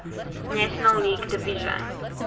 national league division